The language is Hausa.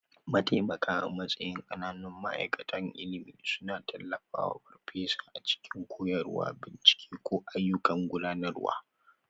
Mataimaka a matsayin ƙananun ma'aikatan ilimi suna tallafawa farfesa a cikin koyarwa, bincike, ko ayyukan gudanarwa.